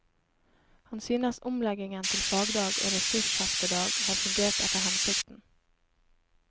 Han synes omleggingen til fagdag og ressursheftedag har fungert etter hensikten.